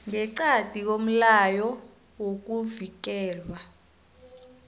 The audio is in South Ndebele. ngeqadi komlayo wokuvikelwa